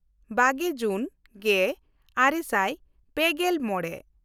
ᱵᱟᱜᱮ ᱡᱩᱱ ᱜᱮᱼᱟᱨᱮ ᱥᱟᱭ ᱯᱮᱜᱮᱞ ᱢᱚᱬᱮ